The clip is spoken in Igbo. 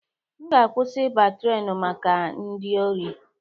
M ga akwụsị ịba trenu maka ndị ori